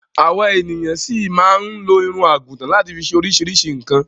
Àwa ènìyan ṣi máa máa lo irun àgùtan láti fi ṣe oríṣiríṣi nǹkan.